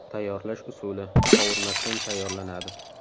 Tayyorlash usuli – qovurmasdan tayyorlanadi.